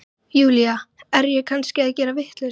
Júlía, er ég kannski að gera vitleysu?